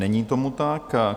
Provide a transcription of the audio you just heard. Není tomu tak.